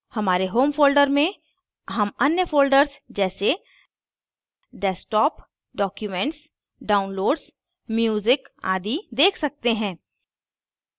हमारे home folder में home अन्य folders जैसे desktop documents downloads music आदि देख सकते हैं